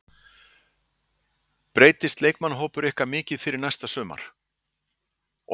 Breytist leikmannahópur ykkar mikið fyrir næsta sumar?